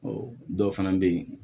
Ɔ dɔw fana bɛ yen